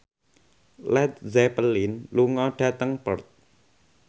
Led Zeppelin lunga dhateng Perth